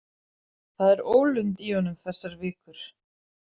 Það er ólund í honum þessar vikur.